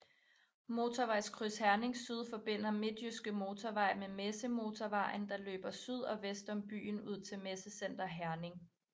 Motorvejskryds Herning Syd forbinder Midtjyske Motorvej med Messemotorvejen der løber syd og vest om byen ud til Messecenter Herning